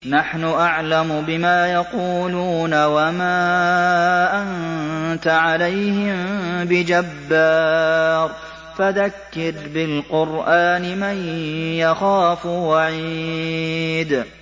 نَّحْنُ أَعْلَمُ بِمَا يَقُولُونَ ۖ وَمَا أَنتَ عَلَيْهِم بِجَبَّارٍ ۖ فَذَكِّرْ بِالْقُرْآنِ مَن يَخَافُ وَعِيدِ